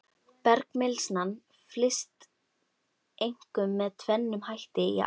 Bergmylsnan flyst einkum með tvennum hætti í ám.